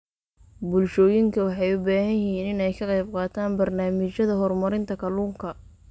Bulshooyinka waxay u baahan yihiin inay ka qaybqaataan barnaamijyada horumarinta kalluunka.